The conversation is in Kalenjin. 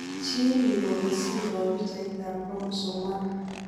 Chil yukole siroo pichaitab chromosome 1.